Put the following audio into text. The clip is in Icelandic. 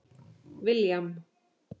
William